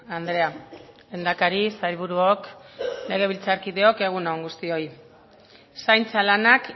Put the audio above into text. andrea lehendakari sailburuok legebiltzarkideok egun on guztioi zaintza lanak